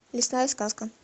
лесная сказка